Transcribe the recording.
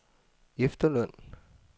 efterløn